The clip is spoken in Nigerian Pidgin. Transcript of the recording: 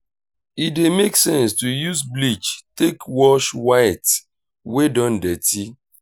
e dey make sense to use bleach take wash white wey don dirty